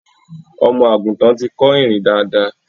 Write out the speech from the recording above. Ọmọ àgùntan ti kọ́ ìrìn dáadáa.